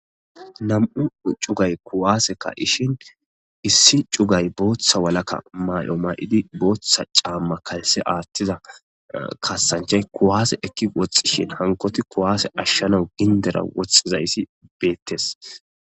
Nam'u c'ugay kuwase ka'ishin issi c'ugay botha walaka ma'o ma'idi botha c'ama kalse atida kasanchay kuwase eki woxishe hankoti kuwase ashanaw gindera woxizaysi betes.